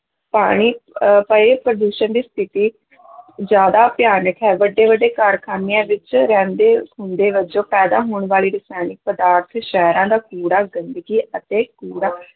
ਪਾਣੀ ਅਹ ਪਏ ਪ੍ਰਦੂਸ਼ਣ ਦੀ ਸਥਿੱਤੀ ਜ਼ਿਆਦਾ ਭਿਆਨਕ ਹੈ, ਵੱਡੇ ਵੱਡੇ ਕਾਰਖ਼ਾਨਿਆਂ ਵਿੱਚ ਰਹਿੰਦੇ ਖੂੰਹਦੇ ਵਜੋਂ ਪੈਦਾ ਹੋਣ ਵਾਲੀ ਰਸਾਇਣਿਕ ਪਦਾਰਥ ਸ਼ਹਿਰਾਂ ਦਾ ਕੂੜਾ ਗੰਦਗੀ ਅਤੇ ਕੂੜਾ